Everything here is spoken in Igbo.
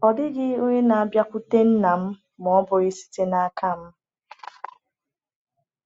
“Ọ dịghị onye na-abịakwute Nna ma ọ bụghị site n’aka m.”